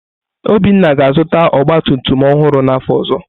Obinna ga-azụta ọgba tum tum ọhụrụ n’afọ ọzọ.